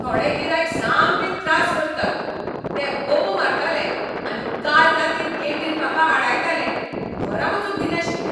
थोडे गिरायक सामकें त्रास करतात. ते बोबो मारताले आनी काल रातीं गेटीर म्हाका आडायताले, घरा वचूंक दिनाशिल्ले!